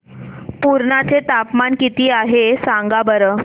पुर्णा चे तापमान किती आहे सांगा बरं